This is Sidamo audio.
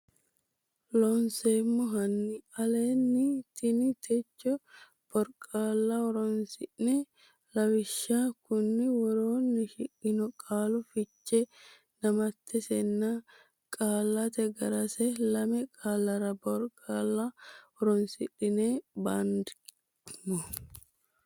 Looseemmo hanni aleenni ini techo boriqaalla horonsi ne lawishshi konni woroonni shiqqino qaalu fiche damattesinna qaallate ga resi lame qaallara boriqaalla horonsidhine bandeemmo.